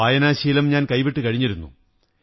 വായനാശീലം ഞാൻ കൈവിട്ടു കഴിഞ്ഞിരുന്നു